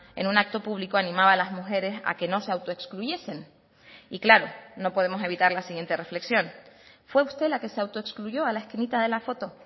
en un acto público animaba a las mujeres a que no se autoexcluyesen y claro no podemos evitar la siguiente reflexión fue usted la que se autoexcluyó a la esquinita de la foto